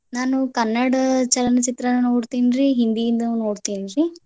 ನಾನು ಕನ್ನಡ್ ಚಲನಚಿತ್ರ ನೋಡ್ತೇನ್ರಿ. ಹಿಂದಿನು ನೋಡ್ತೇನ್ರಿ